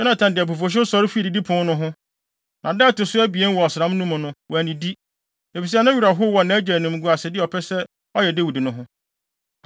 Yonatan de abufuwhyew sɔre fii didipon no ho. Na da a ɛto so abien wɔ ɔsram no mu no, wannidi, efisɛ ne werɛ how wɔ nʼagya animguasede a ɔpɛ sɛ ɔyɛ Dawid no ho.